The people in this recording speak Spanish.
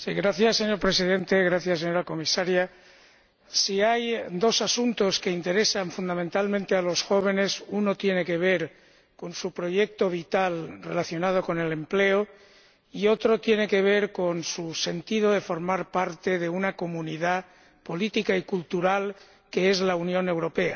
Señor Presidente, señora Comisaria, si hay dos asuntos que interesan fundamentalmente a los jóvenes, uno tiene que ver con su proyecto vital relacionado con el empleo y otro tiene que ver con su sentido de formar parte de una comunidad política y cultural, que es la Unión Europea.